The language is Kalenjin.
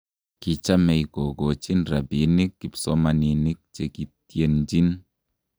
Kichamei kokochin rabinik kipsomaninik che kiitienjin.